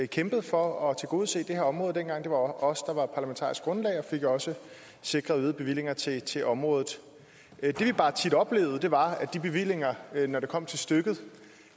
kæmpet for at tilgodese det her område dengang det var os der var parlamentarisk grundlag og vi fik jo også sikret øgede bevillinger til til området det vi bare tit oplevede var at de bevillinger når det kom til stykket